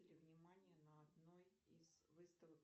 внимание на одной из выставок